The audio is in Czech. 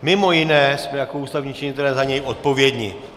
Mimo jiné jsme jako ústavní činitelé za něj odpovědni.